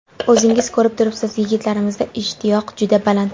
O‘zingiz ko‘rib turibsiz, yigitlarimizda ishtiyoq juda baland.